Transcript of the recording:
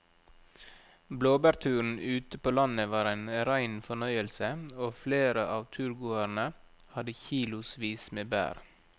Blåbærturen ute på landet var en rein fornøyelse og flere av turgåerene hadde kilosvis med bær.